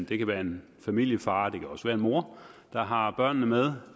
det kan være en familiefar og det kan også være en mor der har børnene med